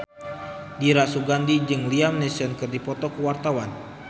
Dira Sugandi jeung Liam Neeson keur dipoto ku wartawan